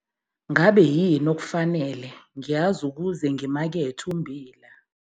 NGABE YINI OKUFANELE NGIYAZI UKUZE NGIMAKETHE UMMBILA?